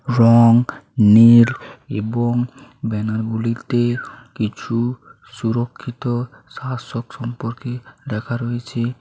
রং নীল এবং ব্যানার গুলিতে কিছু সুরক্ষিত শাসক সম্পর্কে লেখা রয়েছে।